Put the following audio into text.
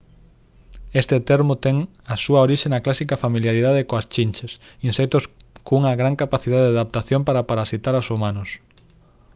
este termo ten a súa orixe na clásica familiaridade coas chinches insectos cunha gran capacidade de adaptación para parasitar aos humanos